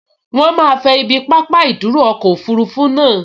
Wọ́n máa fẹ ibi pápá ìdúró ọkọ̀ òfurufú naa